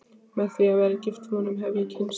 Með því að vera gift honum hef ég kynnst